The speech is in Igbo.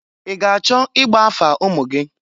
I ga-achọ igba afa ụmụ gị?